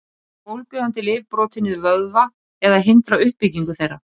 Geta bólgueyðandi lyf brotið niður vöðva eða hindrað uppbyggingu þeirra?